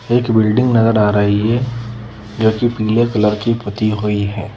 एक बिल्डिंग नजर आ रही हैं जो कि पीले कलर की पती हुई हैं ।